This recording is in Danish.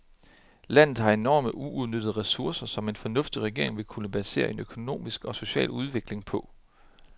Landet har enorme uudnyttede ressourcer, som en fornuftig regering vil kunne basere en økonomisk og social udvikling på.